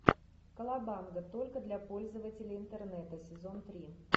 колобанга только для пользователей интернета сезон три